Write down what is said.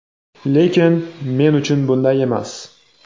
Lekin, men uchun bunday emas.